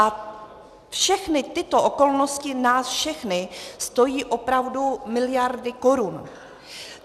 A všechny tyto okolnosti nás všechny stojí opravdu miliardy korun.